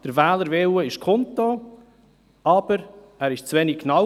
Der Wählerwille ist kundgetan, aber zu wenig genau.